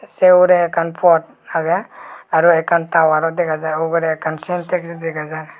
say huray akken pot agey aro akken tauwar ro dega jer ugorey ekken selptes dega jer.